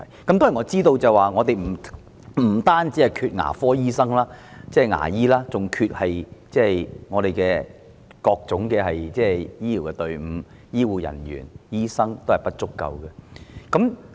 當然，我知道我們不單欠缺牙醫，更欠缺各種醫療隊伍，醫護人員和醫生均不足夠。